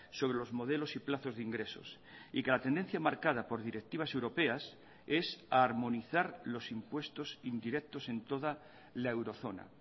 sobre los modelos y plazos de ingresos y que la tendencia marcada por directivas europeas es armonizar los impuestos indirectos en toda la eurozona